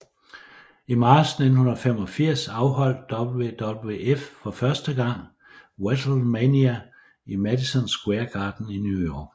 I marts 1985 afholdt WWF for første gang WrestleMania i Madison Square Garden i New York